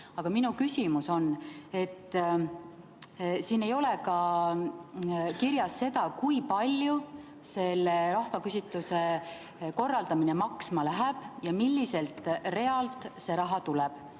Aga minu küsimus on selle kohta, et siin ei ole kirjas ka seda, kui palju selle rahvaküsitluse korraldamine maksma läheb ja milliselt realt see raha tuleb.